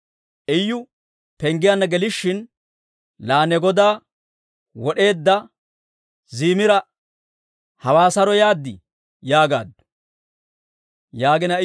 Iyu penggiyaanna gelishin, «Laa ne godaa wod'eedda Zimiraa, hawaa saroo yaad?» yaagaaddu.